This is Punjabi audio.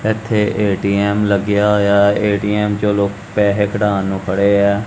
ਇੱਥੇ ਏ_ਟੀ_ਐਮ ਲੱਗਿਆ ਹੋਇਆ ਏ_ਟੀ_ਐਮ ਚੋ ਲੋਕ ਪੈਸੇ ਕਢਾਣ ਨੂੰ ਖੜੇ ਆ।